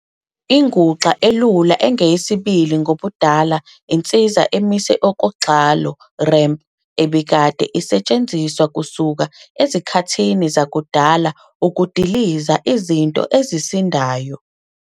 Inguxa elula engeyesibili ngobudala insiza emise okogxalo, ramp, ebikade osetshenziswa kusuka ezikhathini zanguna ukudikiza Izinto ezisindayo.